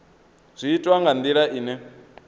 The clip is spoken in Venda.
zwi itwa nga ndila ine